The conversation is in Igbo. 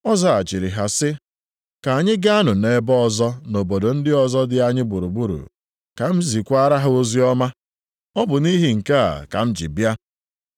Ọ zaghachiri ha sị, “Ka anyị gaanụ ebe ọzọ, nʼobodo ndị ọzọ dị anyị gburugburu, ka m zisakwaara ha oziọma. Ọ bụ nʼihi nke a ka m ji bịa.”